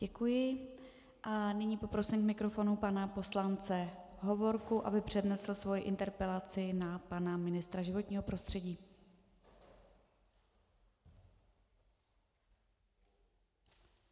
Děkuji a nyní poprosím k mikrofonu pana poslance Hovorku, aby přednesl svoji interpelaci na pana ministra životního prostředí.